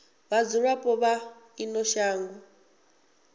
ha vhadzulapo vha ino shango